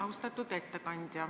Austatud ettekandja!